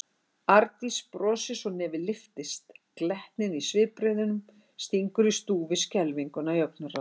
Arndís brosir svo nefið lyftist, glettnin í svipbrigðunum stingur í stúf við skelfinguna í augnaráðinu.